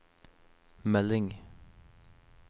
melding